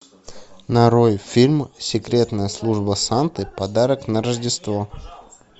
нарой фильм секретная служба санты подарок на рождество